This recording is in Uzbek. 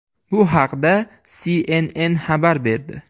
Bu haqda CNN xabar berdi.